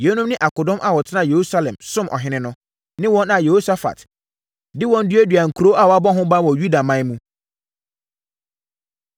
Yeinom ne akodɔm a wɔtenaa Yerusalem somm ɔhene no, ne wɔn a Yehosafat de wɔn duaduaa nkuro a wɔabɔ ho ban wɔ Yudaman mu.